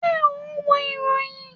Ṣé o n wo ìròyìn?